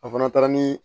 A fana taara ni